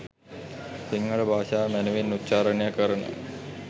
සිංහල භාෂාව මැනවින් උච්චාරණය කරන